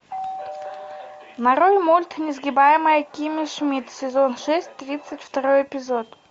нарой мульт несгибаемая кимми шмидт сезон шесть тридцать второй эпизод